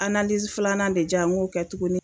Analizi filanan de jan n go kɛ tuguni